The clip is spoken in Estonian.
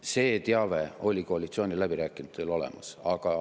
See teave oli koalitsiooniläbirääkijatel olemas.